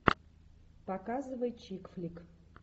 показывай чик флик